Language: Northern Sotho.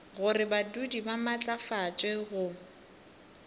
gore badudi ba maatlafatšwe go